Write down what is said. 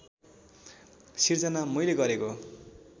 सिर्जना मैले गरेको